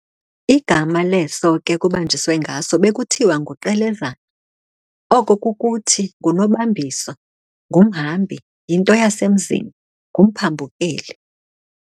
Igama leso ke kubanjiswe ngaso, bekuthiwa nguQelezana, oko kukuthi,"ngunobambiso"," ngumhambi, yinto yasemzini, ngumphambukeli.